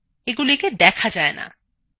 এগুলিকে দেখা যায়না